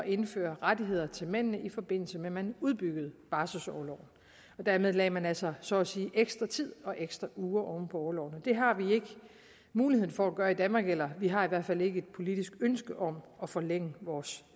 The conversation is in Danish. indføre rettigheder til mændene i forbindelse med at man udbyggede barselsorloven og dermed lagde man altså så at sige ekstra tid og ekstra uger oven på orloven det har vi ikke mulighed for at gøre i danmark eller vi har i hvert fald ikke et politisk ønske om at forlænge vores